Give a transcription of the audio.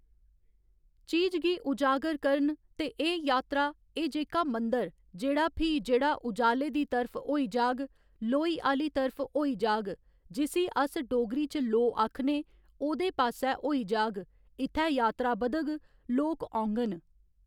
चीज गी उजागर करन ते एह् यात्रा एह् जेह्का मंदर जेह्ड़ा फ्ही जेह्ड़ा उजाले दी तरफ होई जाह्ग लोई आह्‌ली तरफ होई जाह्ग जिसी अस डोगरी च लोऽ आखने ओह्दे पास्सै होई जाह्ग इत्थै यात्रा बधग लोक औङन